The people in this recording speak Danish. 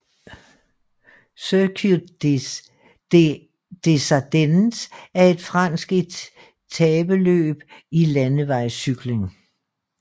Circuit des Ardennes er et fransk etapeløb i landevejscykling